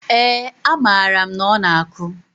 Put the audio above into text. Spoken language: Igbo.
ee, amaara m na ọ na-akụ.